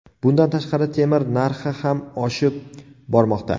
Bundan tashqari, temir narxi ham oshib bormoqda.